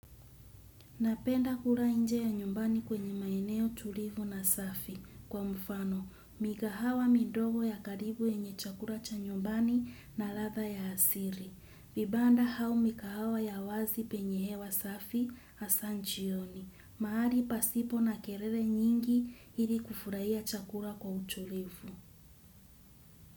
Napenda kula inje ya nyumbani kwenye maeneo tulivu na safi kwa mfano. Mikahawa midogo ya karibu yenye chakula cha nyumbani na ladha ya asili. Vibanda au mikahawa ya wazi penye hewa safi hasa jioni. Mahali pasipo na kelele nyingi ili kufurahia chakula kwa utulivu.